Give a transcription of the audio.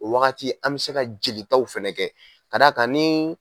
O wagati an be se ka jeli taw fɛnɛ kɛ ka da kan ni